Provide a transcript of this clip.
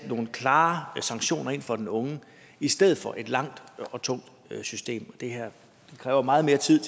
nogle klare sanktioner over for den unge i stedet for et langt og tungt system det her kræver meget mere tid